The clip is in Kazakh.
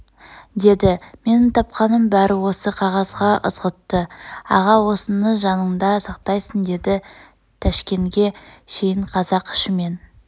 деді менің тапқаным бәрі осы қағазда ызғұтты аға осыны жаныңда сақтағайсың деді тәшкенге шейін қазақ ішімен